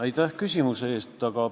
Aitäh küsimuse eest!